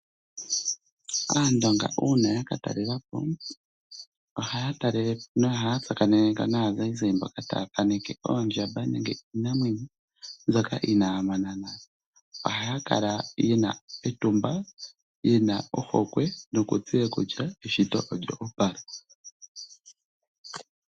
Aandonga uuna ya ka talela po ohaya talelepo nohaya tsakanene ko naazayizayi mboka taya thaaneke oondjamba nenge iinamwenyo mbyoka inaaya mona nale. Ohaya kala yena etumba yena ohokwe nokutseya kutya eshito olyo opala.